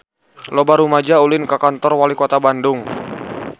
Loba rumaja ulin ka Kantor Walikota Bandung